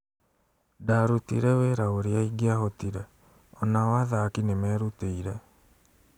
Ndarũtire wĩra ũrĩa ingĩahotire, onao athaki nĩmerutĩire